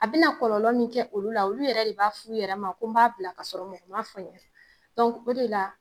A bi na kɔlɔlɔ mun kɛ olu la, olu yɛrɛ de b'a fɔ u yɛrɛ ma ko n b'a bila ka sɔrɔ mɔgɔ ma f'u ye o de la